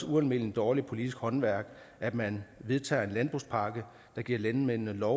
ualmindelig dårligt politisk håndværk at man vedtager en landbrugspakke der giver landmændene lov